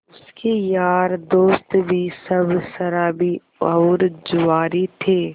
उसके यार दोस्त भी सब शराबी और जुआरी थे